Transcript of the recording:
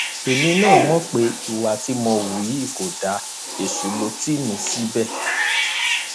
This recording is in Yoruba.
èmi náà mọ pé ìwà tí mo hù yí kò dáa èṣù ló tì mí síbẹ